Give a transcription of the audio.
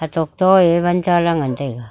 etok to e wan chala ngan taiga.